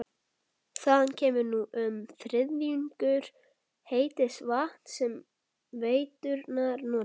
Þaðan kemur nú um þriðjungur heits vatns sem veiturnar nota.